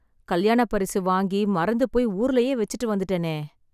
கல்யாணப் பரிசு வாங்கி, மறந்துபோய் ஊர்லயே வெச்சுட்டு வந்துட்டேனே..